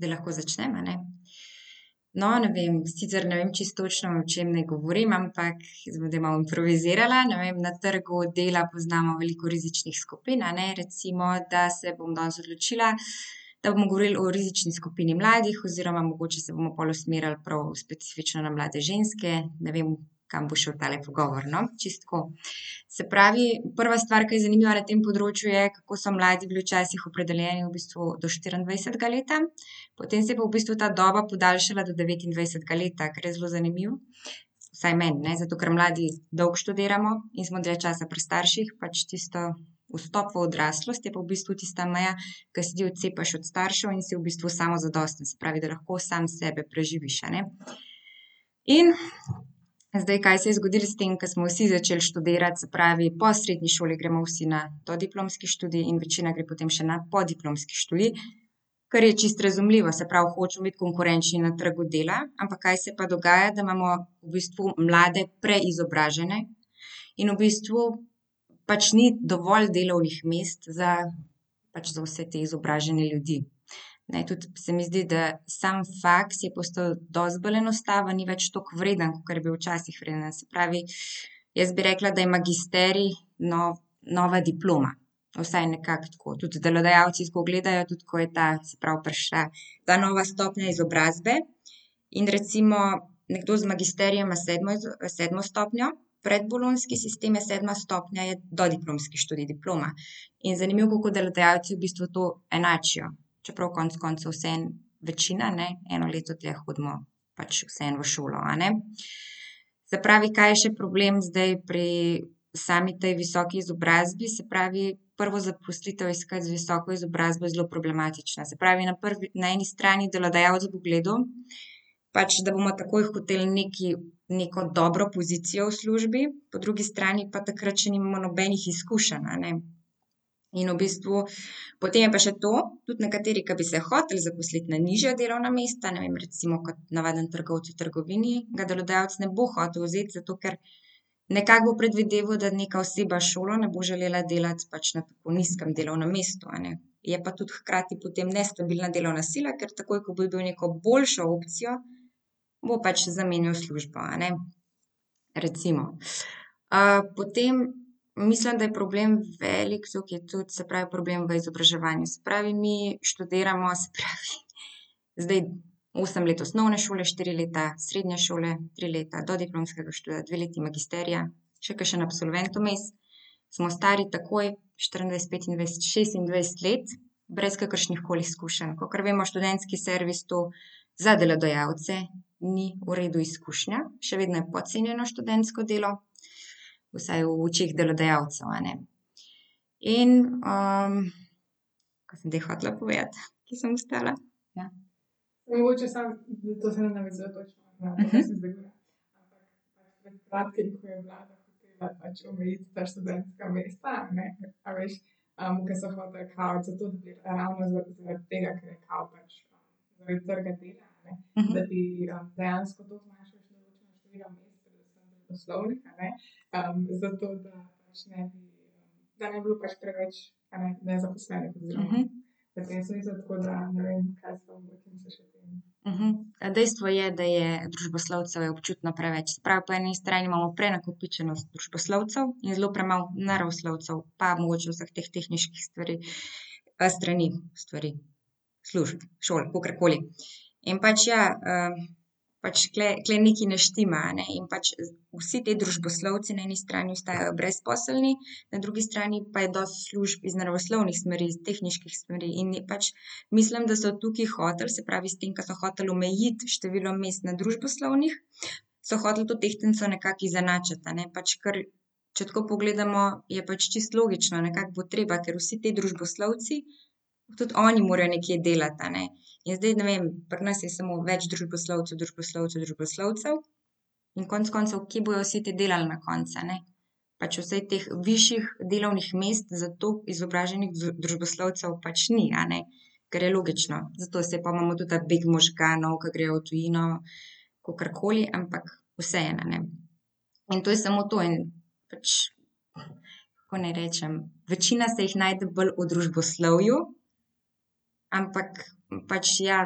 Zdaj lahko začnem, a ne? No, ne vem. Sicer ne vem čisto točno, o čem naj govorim, ampak jaz bom zdaj malo improvizirala, ne vem, na trgu dela poznamo veliko rizičnih skupin, a ne. Recimo, da se bom danes odločila, da bomo govorili o rizični skupini mladih oziroma mogoče se bomo pol usmerili prav v specifično na mlade ženske, ne vem, kam bo šel tale pogovor, no. Čisto tako, se pravi, prva stvar, ke je zanimiva na tem področju, je, kako so mladi bili včasih opredeljeni v bistvu do štiriindvajsetega leta, potem se je pa v bistvu ta doba podaljšala do devetindvajsetega leta, kar je zelo zanimivo. Vsaj meni, ne, zato ker mladi dolgo študiramo in smo dlje časa pri starših, pač tisti vstop v odraslost je pa v bistvu tista meja, ko se ti odcepiš od staršev in si v bistvu samozadosten, se pravi, da lahko sam sebe preživiš, a ne. In zdaj, kaj se je zgodilo s tem, ke smo vsi začeli študirati, se pravi, po srednji šoli gremo vsi na dodiplomski študij in večina gre potem še na podiplomski študij. Kar je čisto razumljivo, se pravi, hočemo biti konkurenčni na trgu dela, ampak kaj se pa dogaja, da imamo v bistvu mlade preizobražene, in v bistvu pač ni dovolj delovnih mest za pač za vse te izobražene ljudi. Ne, tudi se mi zdi, da samo faks je postal dosti bolj enostaven, ni več tako vreden, kakor je bil včasih pri nas, se pravi, jaz bi rekla, da je magisterij, no, nova diploma. Vsaj nekako tako, tudi delodajalci tako gledajo, tudi ko je ta, se pravi, prišla ta nova stopnja izobrazbe in recimo nekdo z magisterijem ima sedmo ima sedmo stopnjo, predbolonjski sistem je sedma stopnja je dodiplomski študij diploma. In zanimivo, kako delodajalci v bistvu to enačijo. Čeprav konec koncev vseeno večina, ne, eno leto dlje hodimo pač vseeno v šolo, a ne. Se pravi, kaj je še problem zdaj pri sami tej visoki izobrazbi, se pravi, prvo zaposlitev iskati z visoko izobrazbo je zelo problematično, se pravi, na na eni strani delodajalec bo gledal pač, da bomo takoj hoteli nekaj, neko dobro pozicijo v službi, po drugi strani pa takrat še nimamo nobenih izkušenj, a ne. In v bistvu potem je pa še to. Tudi nekateri, ke bi se hoteli zaposliti na nižja delovna mesta, ne vem, recimo kot navaden trgovec v trgovini, ga delodajalec ne bo hotel vzeti, zato ker nekako bo predvideval, da nekaj oseba s šolo ne bo želela delati pač na tako nizkem delovnem mestu, a ne. Je pa tudi hkrati potem nestabilna delovna sila, ker takoj, ko bojo dobili boljšo opcijo, bo pač zamenjal službo, a ne, recimo. potem mislim, da je problem velik to, ke tudi, se pravi, problem v izobraževanju, se pravi, mi študiramo, se pravi, zdaj osm let osnovne šole, štiri leta srednje šole, tri leta dodiplomskega študija, dve leti magisterija. Še kakšen absolvent vmes. Smo stari takoj štiriindvajset, petindvajset, šestindvajset let brez kakršnihkoli izkušenj, kakor vemo, študentski servis, to za delodajalce ni v redu izkušnja. Še vedno je podcenjeno študentsko delo. Vsaj v očeh delodajalcev, a ne. In, kaj sem zdaj hotela povedati, kje sem ostala. dejstvo je, da je družboslovcev je občutno preveč, se pravi, po eni strani imamo prenakopičenost družboslovcev in zelo premalo naravoslovcev, pa mogoče vsaj teh tehniških stvari. strani, stvari. Služb, šol, kakorkoli. In pač ja, pač tule, tule nekaj ne štima, a ne, in pač vsi ti družboslovci na eni strani ostajajo brezposelni, na drugi strani pa je dosti služb iz naravoslovnih smeri, tehniških smeri, in pač mislim, da so tukaj hoteli se pravi s tem, ki so hoteli omejiti število mest na družboslovnih, so hoteli to tehtnico nekako izenačiti, a ne, pač kar, če tako pogledamo, je pač čisto logično. Nekako bo treba, ker vsi ti družboslovci tudi oni morajo nekje delati, a ne. In zdaj ne vem, pri nas je samo več družboslovcev, družboslovcev, družboslovcev. In konec koncev, kjer bodo vsi ti delali na koncu, ne? Pač vseh teh višjih delovnih mest za toliko izobraženih družboslovcev pač ni, a ne. Kar je logično, zato se je pol imamo tudi ta beg možganov, ke grejo v tujino, kakorkoli, ampak vseeno, a ne. In to je samo to in pač, kako naj rečem, večina se jih najde bolj v družboslovju. Ampak pač, ja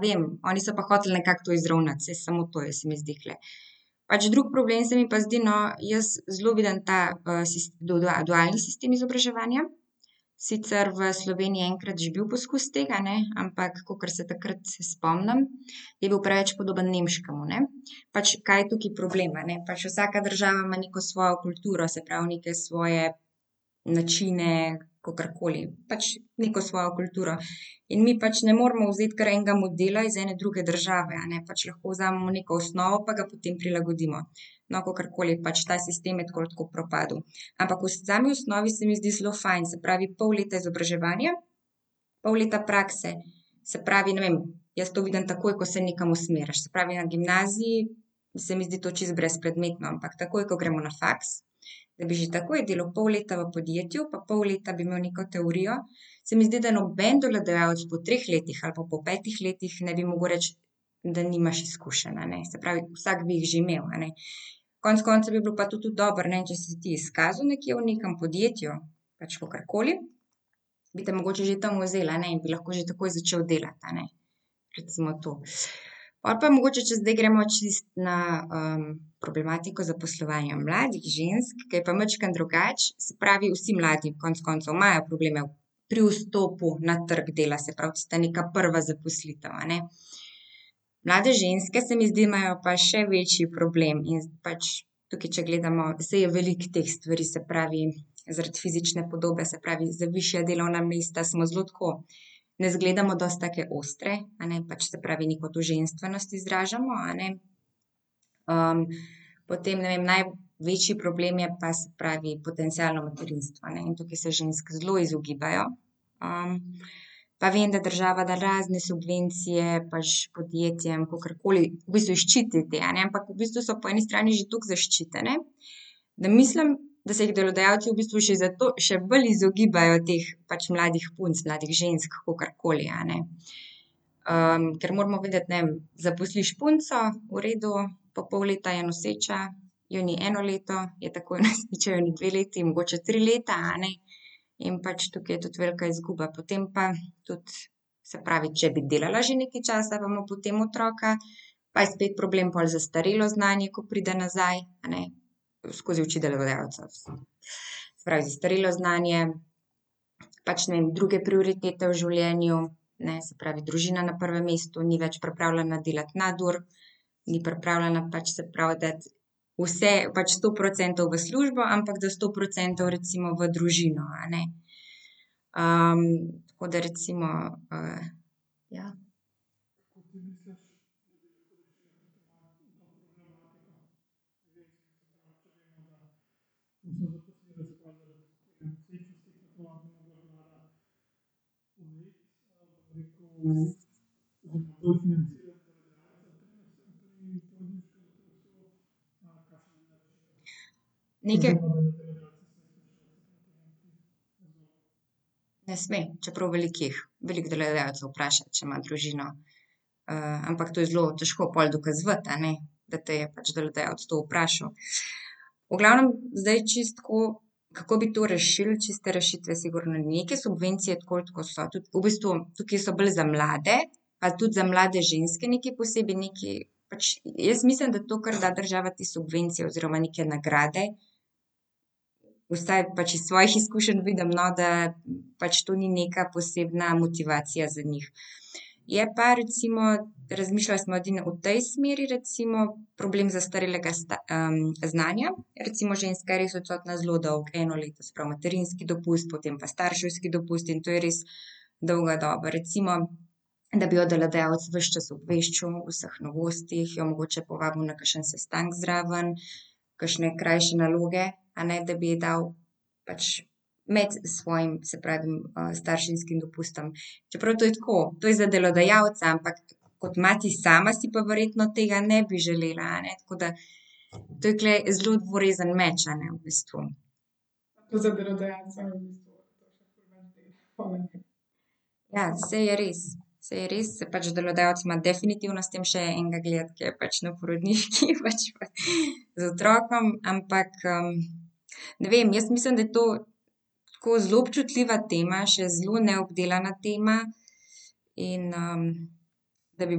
vem. Oni so pa hoteli nekako to izravnati, saj samo to je, se mi zdi tule. Pač drug problem se mi pa zdi, no, jaz zelo vidim ta, dualni sistem izobraževanja, sicer v Sloveniji je enkrat že bil poskus tega, ne, ampak kakor se takrat se spomnim, je bil preveč podoben nemškemu, ne. Pač kaj je tudi problem, a ne, pač vsaka država ima neko svojo kulturo, se pravi, neke svoje načine, kakorkoli pač, neko svojo kulturo. In mi pač ne moremo vzeti kar enega modela iz ene druge države, a ne, pač lahko vzamemo neko osnovo pa ga potem prilagodimo. No, kakorkoli pač, ta sistem je tako ali tako propadel. Ampak v sami osnovi se mi zdi zelo fajn, se pravi, pol leta izobraževanja, pol leta prakse. Se pravi, ne vem, jaz to vidim takoj, ko se nekam usmeriš. Se pravi, na gimnaziji se mi zdi to čisto brezpredmetno, ampak takoj, ko gremo na faks, da bi že takoj delal pol leta v podjetju, pa pol leta bi imeli neko teorijo, se mi zdi, da noben delodajalec po treh letih ali pa po petih letih ne bi mogel reči, da nimaš izkušenj, a ne, se pravi, vsak bi jih že imel, a ne. Konec koncev bi bilo pa to tudi dobro, ne, če si se ti izkazal nekje v nekem podjetju, pač kakorkoli, bi te mogoče že tam vzeli, a ne. In bi lahko takoj začel delati, a ne. Recimo to. Pol pa mogoče, če zdaj gremo čisto na, problematiko zaposlovanja mladih žensk, ke je pa majčkeno drugače, se pravi, vsi mladi konec koncev imajo probleme pri vstopu na trgu dela, se pravi, tista neka prva zaposlitev, a ne. Mlade ženske, se mi zdi, imajo pa še večji problem in pač tukaj, če gledamo, saj je veliko teh stvari, se pravi, zaradi fizične podobe, se pravi, za višja delovna mesta, smo zelo tako, ne zgledamo dosti take ostre, a ne, pač, se pravi, neko to ženstvenost izražamo, a ne. potem, ne vem, največji problem je pa, se pravi, potencialno materinstvo, a ne. In tukaj se žensk zelo izogibajo, pa vem, da država da razne subvencije pač podjetjem, kakorkoli v bistvu jih ščiti te, a ne. V bistvu so po eni strani že toliko zaščitene, da mislim, da se jih delodajalci v bistvu še zato še bolj izogibajo teh pač mladih punc, mladih žensk, kakorkoli, a ne. ker moramo vedeti, ne, zaposliš punco, v redu, pol pol leta je noseča, jo ni eno leto, je takoj noseča, je ni dve leti mogoče tri leta, a ne. In pač tukaj je tudi velika izguba. Potem pa tudi, se pravi, če bi delala že nekaj časa pa ima potem otroka, pa je spet problem pol zastarelo znanje, ko pride nazaj, a ne, skozi oči delodajalca , se pravi, zastarelo znanje pač ne vem, druge prioritete v življenju. Ne, se pravi, družina na prvem mestu, ni več pripravljena delati nadur. Ni pripravljena pač, se pravi, dati vse pač sto procentov v službo, ampak da sto procentov recimo v družino, a ne. tako da recimo, ja. Ne sme, čeprav veliko jih. Veliko delodajalcev vpraša, če ima družino, ampak to je zelo težko pol dokazovati, a ne, da te je pač delodajalec to vprašal. V glavnem zdaj čisto tako, kako bi to rešili, čiste rešitve sigurno ni in neke subvencije tako ali tako so tudi v bistvu tukaj so bolj za mlade pa tudi za mlade ženske nekaj posebej nekaj pač jaz mislim, da to, kar da država te subvencije oziroma neke nagrade, vsaj pač iz svojih izkušenj vidim, no, da pač to ni neka posebna motivacija za njih. Je pa recimo razmišljali smo edino v tej smeri recimo, problem zastarelega znanja, recimo ženska je res odsotna zelo dolgo. Eno leto, se pravi, materinski dopust, potem pa starševski dopust in to je res dolga doba, recimo, da bi jo delodajalec ves čas obveščal o vseh novostih, jo mogoče povabil na kakšen sestanek zraven, kakšne krajše naloge, a ne, da bi ji dal. Pač med svojim, se pravi, starševskim dopustom, čeprav to je tako, to je za delodajalca, ampak kot mati sama si pa verjetno tega ne bi želela, a ne, tako da to tule je zelo dvorezen meč, a ne v bistvu. Ja, saj je res. Saj je res, saj pač delodajalec ima definitivno s tem še enega gledati, ke je pač na porodniški z otrokom, ampak, ne vem, jaz mislim, da je to tako zelo občutljiva tema, še zelo neobdelana tema in, da bi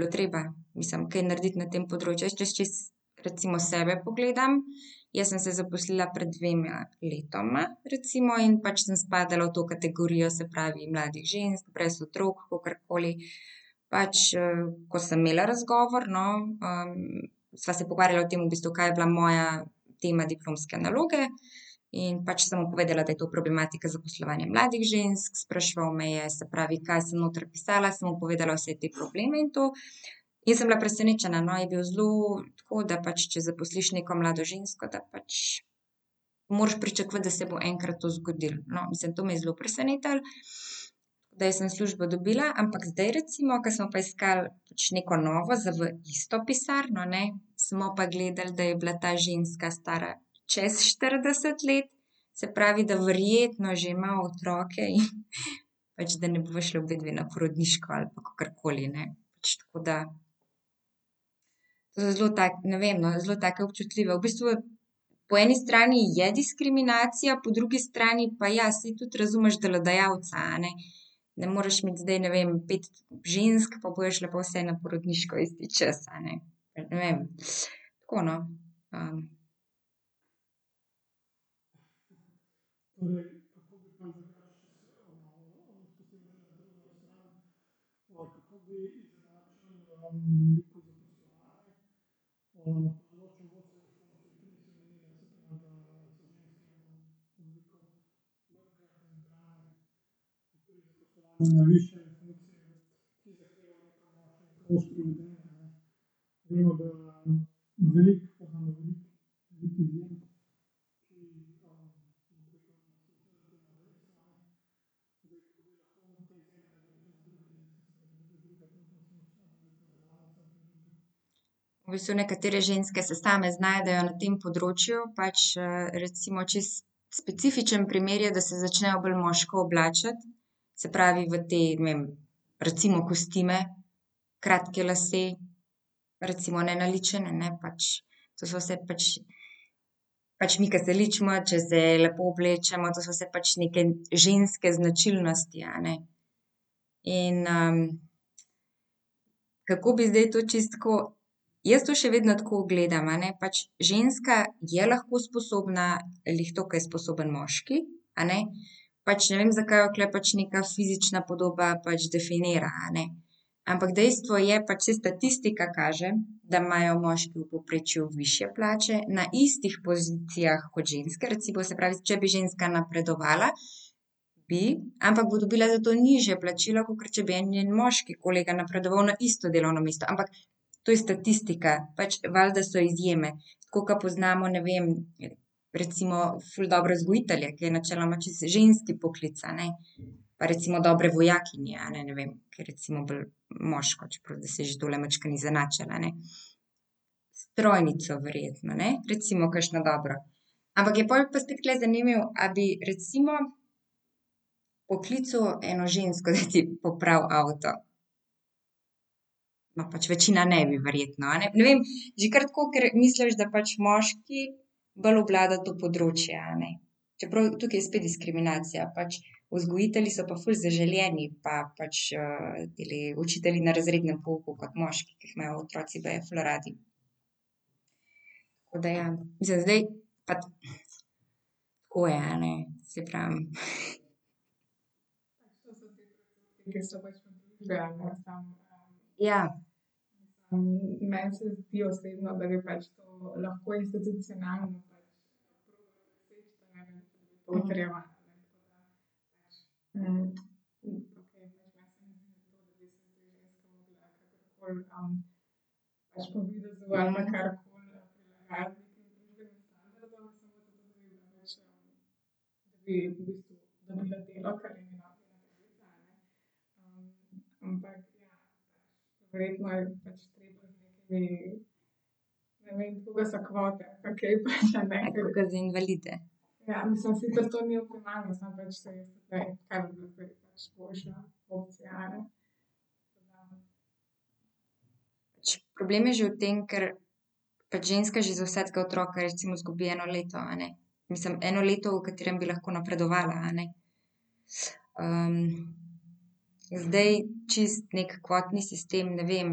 bilo treba, mislim, kaj narediti na tem področju, jaz, če čisto recimo sebe pogledam, jaz sem se zaposlila pred dvema letoma recimo, in pač samo spadala v to kategorijo, se pravi, mladih žensk brez otrok kakorkoli, pač, ko sem imela razgovor, no, sva se pogovarjala o tem v bistvu, kaj je bila moja tema diplomske naloge in pač sem mu povedala, da je to problematika zaposlovanja mladih žensk, spraševal me je, se pravi, kaj sem noter pisala, sem mu povedala vse te probleme in to. In sem bila presenečena, no, je bil zelo tako, da pač če zaposliš neko mlado žensko, da pač moraš pričakovati, da se bo enkrat to zgodilo. No, mislim to me je zelo presenetilo. Da jaz sem službo dobila, ampak zdaj recimo, ke smo pa iskali pač neko novo za v isto pisarno, ne, smo pa gledali, da je bila ta ženska stara čez štirideset let, se pravi, da verjetno že ima otroke in pač, da ne bova šle obedve na porodniško ali pa kokrkoli, ne, pač tako da. zelo tako, ne vem, no, zelo taka občutljiva v bistvu po eni strani je diskriminacija, po drugi strani pa, ja, saj tudi razumeš delodajalca, a ne. Ne moraš imeti zdaj ne vem pet žensk, pol bojo šle pa vse na porodniško isti čas, a ne. Ne vem, tako, no, V bistvu nekatere ženske se same znajdejo na tem področju pač, recimo čisto specifičen primer je, da se začnejo bolj moško oblačiti, se pravi, v te, ne vem, recimo kostime, kratke lase, recimo nenaličene, ne, pač to so vse pač pač mi, ke se ličimo, če se lepo oblečemo, to so vse pač neke ženske značilnosti, a ne, in, kako bi to zdaj čisto tako, jaz to še vedno tako gledam, a ne, ženska je lahko sposobna glih tako, ke je sposoben moški, a ne, pač ne vem, zakaj jo tule pač neka fizična podoba pač definira, a ne. Ampak dejstvo je pač, saj statistika kaže, da imajo moški v povprečju višje plače na istih pozicijah kot ženske recimo, se pravi, če bi ženska napredovala, bi, ampak bo dobila zato dobila nižje plačilo, kakor če bi en njen moški kolega napredoval na isto delovno mesto, ampak to je statistika, pač valjda so izjeme. Tako ke poznamo, ne vem, recimo ful dobre vzgojitelje, ke je načeloma čisto ženski poklic, a ne, pa recimo dobre vojakinje, a ne, ne vem, ke je recimo bolj moško, čeprav zdaj se je že tole majčkeno izenačilo, a ne. Strojnico verjetno, ne, recimo kakšno dobro. Ampak je pol pa spet tule zanimivo, a bi recimo poklical eno žensko, da ti popravi avto. Ma pač večina ne bi verjetno, a ne, ne vem. Že kar tako, ke misliš, da pač moški bolj obvlada to področje, a ne. Čeprav tukaj je spet diskriminacija, pač vzgojitelji so pa ful zaželeni pa pač, tile učitelji na razrednem pouku kot moški, ke jih imajo otroci baje ful radi. Tako da je, mislim zdaj, tako je, a ne, saj pravim. Ja. Problem je že v tem, ker pač ženska že za vsakega otroka recimo izgubi recimo eno leto, a ne, mislim, eno leto, v katerem bi lahko napredovala, a ne. zdaj čisto neki kvotni sistem, ne vem,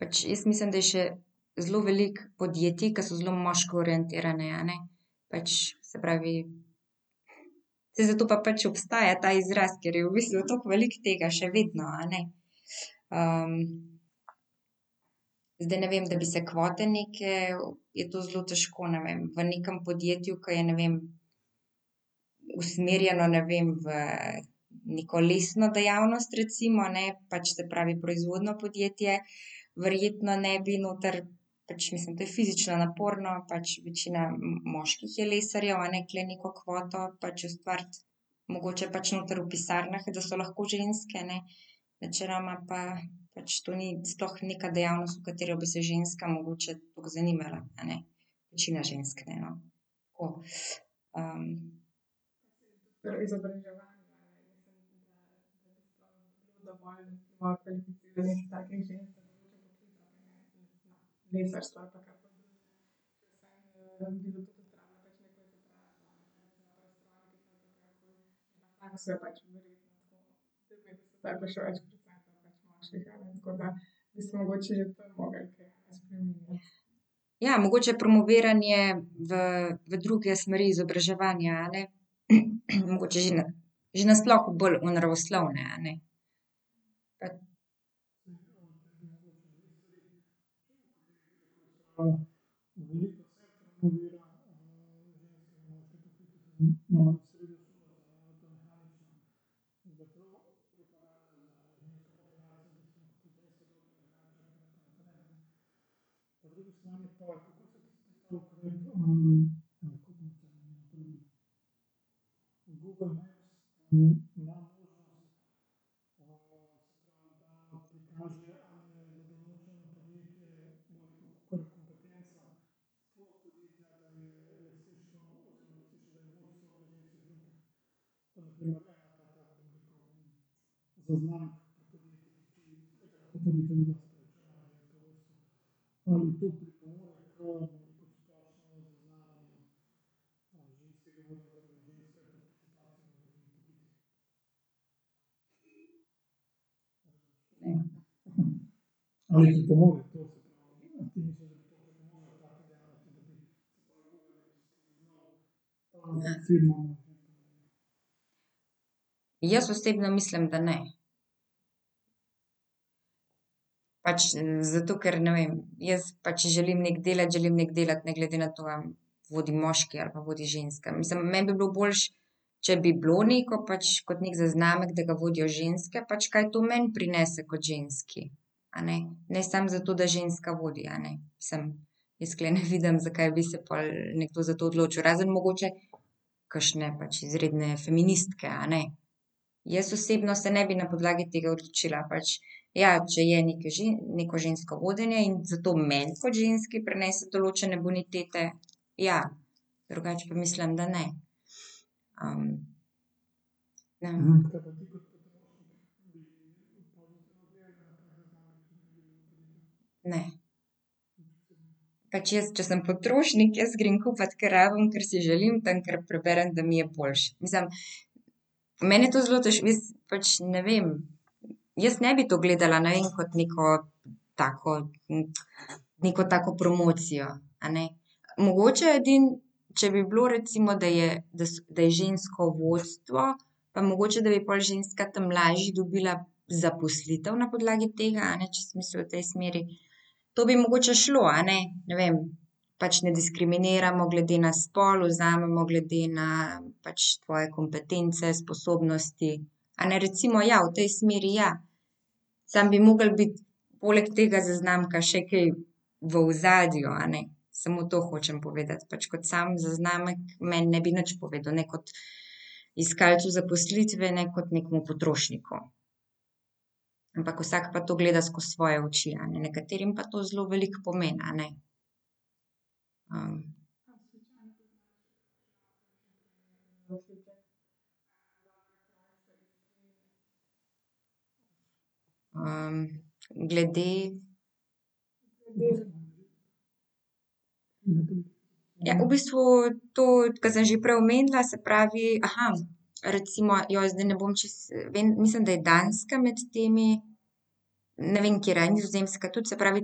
pač jaz mislim, da je še zelo veliko podjetij, ke so zelo moško orientirana, a ne, pač se pravi, saj zato pa pač obstaja ta izraz, ker je v bistvu tako veliko tega še vedno, a ne. zdaj ne vem, da bi se kvote neke, je to zelo težko, ne vem, v nekem podjetju, ke je, ne vem, usmerjeno, ne vem, v neko lesno dejavnost, recimo, ne, pač se pravi proizvodnjo podjetje, verjetno ne bi noter, pač mislim, to je fizično naporno, pač večina moških je lesarjev, a ne, tule neko kvoto pač ustvariti, mogoče pač noter v pisarnah, da so lahko ženske, ne, načeloma pa pač to ni sploh neka dejavnost, v katero bi se ženska mogoče toliko zanimala, a ne. Večina žensk ne, no. Tako, Ja, mogoče je promoviranje v v druge smeri izobraževanja, a ne, mogoče že na že na sploh bolj v naravoslovne. Jaz osebno mislim, da ne. Pač zato, ker ne vem, jaz pa, če želim nekaj delati, želim nekaj delati ne glede na to, a vodi moški ali pa vodi ženska. Mislim, meni bi bilo boljše, če bi bilo neko pač kot neki zaznamek, da ga vodijo ženske, pač kaj to meni prinese kot ženski. A ne, ne samo zato, da ženska vodi, a ne. Mislim, jaz tule ne vidim, zakaj bi se pol nekdo za to odločil, razen mogoče kakšne pač izredne feministke, a ne. Jaz osebno se ne bi na podlagi tega odločila pač, ja, če je neka neko žensko vodenje in zato meni kot ženski prinese določene bonitete, ja, drugače pa mislim, da ne. ja. Ne. Pač jaz, če sem potrošnik, jaz grem kupiti, kar rabim, kar si želim tam, kjer preberem, da mi je boljše. Mislim, mene to zelo pač ne vem, jaz ne bi to gledala, ne vem, kot neko tako neko tako promocijo, a ne. Mogoče edino, če bi bilo recimo, da je, da so, da je žensko vodstvo, pa mogoče, da bi pol ženska tam lažje dobila zaposlitev na podlagi tega, a ne, če si mislil v tej smeri. To bi mogoče šlo, a ne. Ne vem. Pač ne diskriminiramo glede na spol, vzamemo glede na pač tvoje kompetence, sposobnosti, a ne, recimo ja, v tej smeri, ja. Samo bi moglo biti poleg tega zaznamka še kaj v ozadju, a ne. Samo to hočem povedati, pač kot sam zaznamek meni ne bi nič povedal kot iskalcu zaposlitve ne kot nekemu potrošniku. Ampak vsak pa to gleda skozi svoje oči, a ne, nekaterim pa to zelo veliko pomeni, a ne. glede ... Ja, v bistvu to, ke sem že prej omenila, se pravi, recimo, zdaj ne bom čisto, vem, mislim, da je Danska med temi, ne vem, katera, a je Nizozemska tudi, se pravi